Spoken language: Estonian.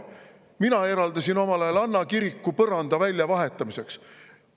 Mina eraldasin omal ajal Anna kiriku põranda väljavahetamiseks.